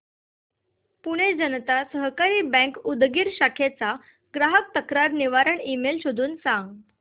Pune Janata Sahakari bank Udgir शाखेचा ग्राहक तक्रार निवारण ईमेल शोधून सांग